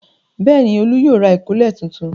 Bẹ́ẹ̀ ni, Olú yóò ra ìkọ́lẹ̀ tuntun.